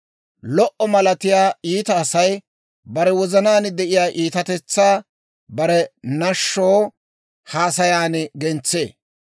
Lo"o malatiyaa iita Asay bare wozanaan de'iyaa iitatetsaa bare nashsho haasayan gentsee.